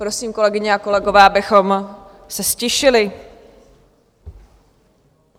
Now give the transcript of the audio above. Prosím, kolegyně a kolegové, abychom se ztišili.